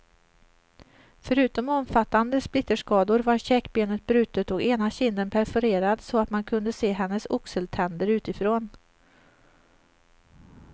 Förutom omfattande splitterskador var käkbenet brutet och ena kinden perforerad så att man kunde se hennes oxeltänder utifrån.